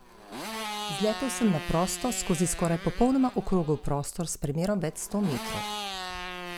Na policiji so pojasnili, da so prejeli dva pisna zagovora, štirje zaposleni so se zagovarjali ustno, eden pa se doslej zagovora ni udeležil.